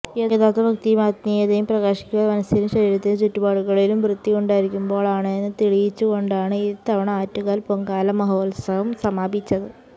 യഥാര്ത്ഥ ഭക്തിയും ആത്മീയതയും പ്രകാശിക്കുക മനസ്സിലും ശരീരത്തിലും ചുറ്റുപാടുകളിലും വൃത്തിയുണ്ടായിരിക്കുമ്പോളാണെന്ന് തെളിയിച്ചുകൊണ്ടാണ് ഇത്തവണയും ആറ്റുകാല് പൊങ്കാല മഹോത്സവം സമാപിച്ചത്